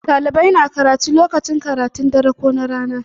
Ɗalibai na karatu lokacin karatun rana ko na dare.